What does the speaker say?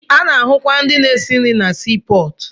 Ana-ahụkwa ndị na-esi nri na sii pọọtụ.